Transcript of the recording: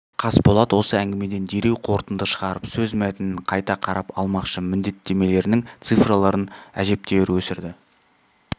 қасболат осы әңгімеден дереу қорытынды шығарып сөз мәтінін қайта қарап алмақшы міндеттемелерінің цифрларын әжептәуір өсірді